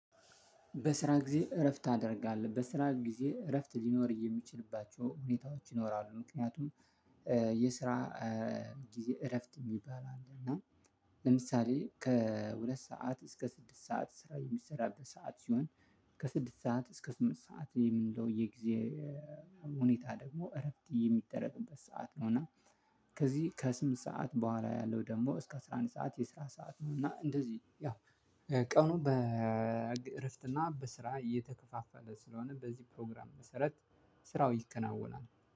በስራ ጊዜ እረፍት ታደርጋለህ በስራ ጊዜ እረፍት ሊኖር የሚችልባቸው ሁኔታዎች ይኖራሉ። ምክንያቱም የስራ ጊዜ እረፍት እሚባል አለ። እና ለምሳሌ ከሁለት ሰዓት እስከ ስድስት ሰዓት ስራ የሚሰራበት ሰዓት ሲሆን ከስድስት ሰዓት እስከ ስምንት ሰዓት የምንለው የጊዜ ሁኔታ ደግሞ እረፍት የሚደረግበት ሰዓት ነው። እና ከዚህ ከስምንት ሰዓት ቡሃላ ያለው ደግሞ እስከ አስራ አንድ ሰዓት የአስራ ሰዓት ነው። እና ቀኑ በእረፍት እና በስራ እየተከፋፈለ ስለሆነ በዚህ ፕሮግራም መሰረት ስራው ይከናወናል።